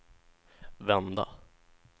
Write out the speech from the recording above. vända